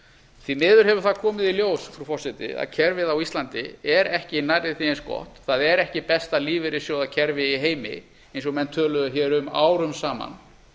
því miður hefur það komið í ljós frú forseti að kerfið á íslandi er ekki nærri því eins gott það er ekki besta lífeyrissjóðakerfi í heimi eins og menn töluðu hér um árum saman